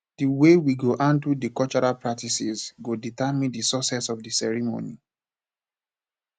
the way we go handle di cultural practices go determine di success of the the ceremony